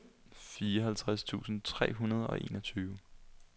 fireoghalvtreds tusind tre hundrede og enogtyve